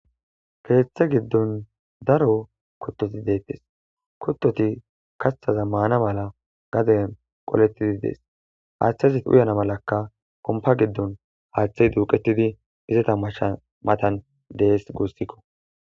keeththe giddon daro kutoti deettes kuttoti kathaza maana mala gaden qolettidi dees haaththazit uyana malakka kompa giddon haaththey duuqetidi izata masha matan dees guussikko